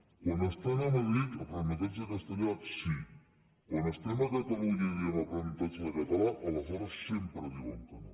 quan estan a madrid aprenentatge en castellà sí quan estem a catalunya i diem aprenentatge de català aleshores sempre diuen que no